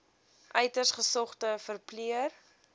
uiters gesogde verpleër